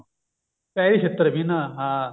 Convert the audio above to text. ਪੈਰੀ ਛਿੱਤਰ ਵੀ ਨਾ ਹਾਂ